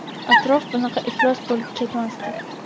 atrof bunaqa iflos bo‘lib ketmasdi.